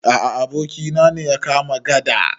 A a, abokina ne ya kama gada.